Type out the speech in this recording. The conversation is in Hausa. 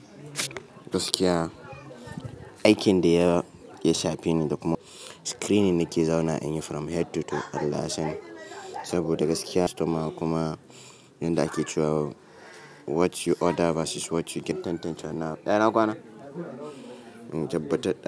Gaskiya aikin da ya shafe ni da kuma screening na ke zaunawa in yi from head to toe allah ya sani saboda gaskiya customer kuma inda ake cewa what you order versus what you get tantance ina kwana. In tabbatar da.